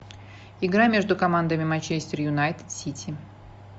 игра между командами манчестер юнайтед сити